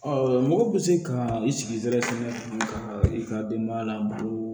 mɔgɔ bɛ se ka i sigi sɛbɛ ka i ka denbaya labalo